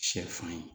Sɛfan ye